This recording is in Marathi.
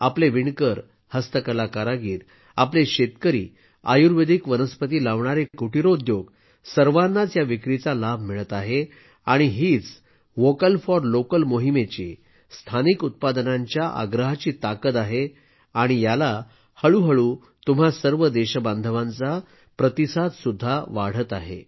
आपले विणकर हस्तकला कारागीर आपले शेतकरी आयुर्वेदिक वनस्पती लावणारे कुटीर उद्योग सर्वांनाच या विक्रीचा लाभ मिळत आहे आणि हीच वोकल फॉर लोकल मोहिमेची स्थानिक उत्पादनांच्या आग्रहाची ताकद आहे आणि याला हळूहळू तुम्हा सर्व देशबांधवांचा प्रतिसाद सुद्धा वाढत आहे